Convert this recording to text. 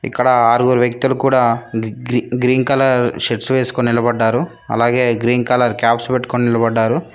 ఇక్కడ ఆరుగురు వ్యక్తులు కూడా గ్రీ గ్రీన్ కలర్ షర్ట్స్ వేసుకొని నిలబడ్డారు అలాగే గ్రీన్ కలర్ కాప్స్ పెట్టుకొని నిలబడ్డారు.